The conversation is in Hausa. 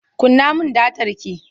Kunna min datar ki!